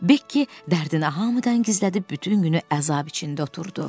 Bekki dərdini hamıdan gizlədib bütün günü əzab içində oturdu.